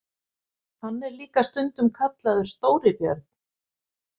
Hann er líka stundum kallaður Stóri björn.